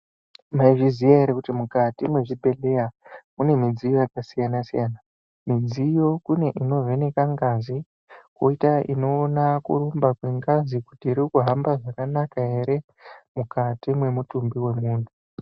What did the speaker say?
Mwaizviziya ere kuti mukati mwezvibhedheya mune midziyo yakasiyanasiyana .Midziyo kune inovheneka ngazi koita inoona kurumba kwengazi kuti iri kuhamba zvakanaka ere mukati mwemutumbi wemunhu.